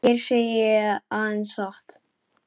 Hér segi ég aðeins satt.